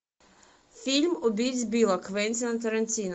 фильм убить билла квентина тарантино